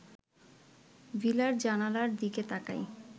ভিলার জানালার দিকে তাকাই